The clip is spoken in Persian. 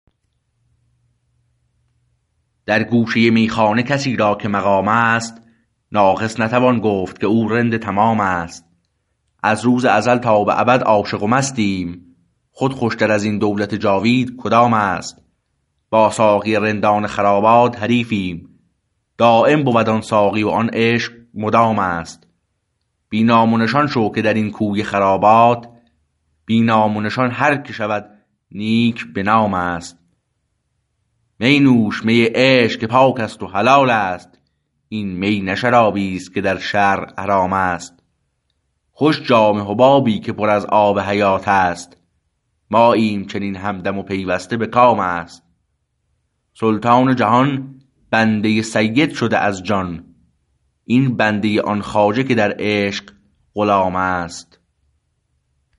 در گوشه میخانه کسی را که مقام است ناقص نتوان گفت که او رند تمام است از روز ازل تا به ابد عاشق و مستیم خود خوشتر از این دولت جاوید کدامست با ساقی رندان خرابات حریفیم دایم بود آن ساقی و آن عشق مدام است بی نام و نشان شو که درین کوی خرابات بی نام و نشان هر که شود نیک به نام است می نوش می عشق که پاکست و حلالست این می نه شرابیست که در شرع حرام است خوش جام حبابی که پر از آب حیاتست ماییم چنین همدم و پیوسته به کام است سلطان جهان بنده سید شده از جان این بنده آن خواجه که در عشق غلامست